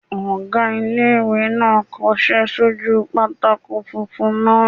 Ọgá ilé-ìwé náà n kọsẹ́ sójú pátákó funfun náà